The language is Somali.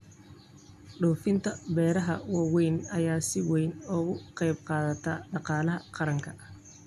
Dhoofinta beeraha waaweyn ayaa si weyn uga qayb qaata dhaqaalaha qaranka.